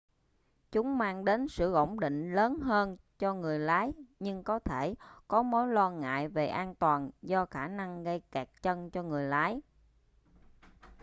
chúng mang đến sự ổn định lớn hơn cho người lái nhưng có thể có mối lo ngại về an toàn do khả năng gây kẹt chân cho người lái